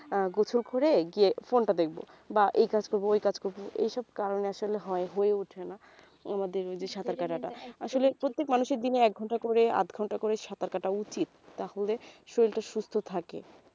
আহ গোসল করে গিয়ে phone টা দেখব বা এই কাজ করবো ওই কাজ করবো এইসব কারনে আসলে হয় হয়ে উঠছেনা আমাদের ওই যে সাঁতার কাটা টা আসলে প্রত্যেক মানুষের দিনে এক ঘণ্টা করে আধ ঘণ্টা করে সাঁতার কাটা উচিত তাহলে শরীর টা সুস্থ থাকে